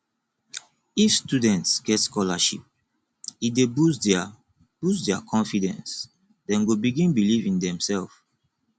if students get scholarship e dey boost their boost their confidence dem go begin believe in demsef